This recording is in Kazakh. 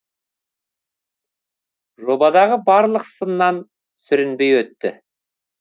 жобадағы барлық сыннан сүрінбей өтті